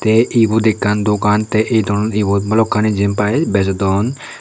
ei ebot ekkan dogan ebot balukkani jainpai bejodon.